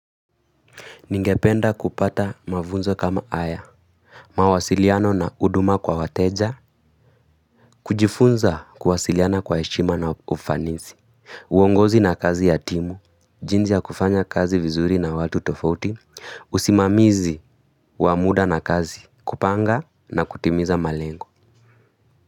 Ningependa kupata mafunzo kama haya, mawasiliano na huduma kwa wateja, kujifunza kuwasiliana kwa heshima na ufanisi. Uongozi na kazi ya timu, jinsi ya kufanya kazi vizuri na watu tofauti, usimamizi wa muda na kazi, kupanga na kutimiza malengo.